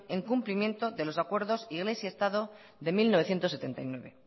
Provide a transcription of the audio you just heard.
en cumplimiento de los acuerdo y en ese estado del mil novecientos setenta y nueve